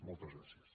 moltes gràcies